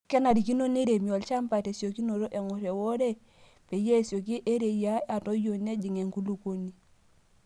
Kenarikino neiremi olchampa tesiokinoto eng'or euore peyie esioki eriyia atoyio nejing' enkulukuoni.